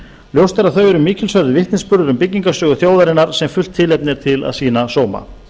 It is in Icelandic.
ljóst er að þau eru mikilsverður vitnisburður um byggingarsögu þjóðarinnar sem fullt tilefni er til að sýna sóma